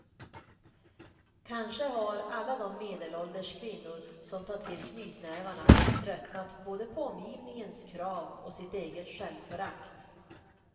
Kanske har alla de medelålders kvinnor som tar till knytnävarna tröttnat både på omgivningens krav och sitt eget självförtryck.